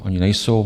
Ony nejsou.